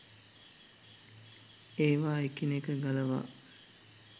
ඒවා එකිනෙක ගලවා